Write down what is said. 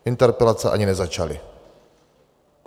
Interpelace ani nezačaly.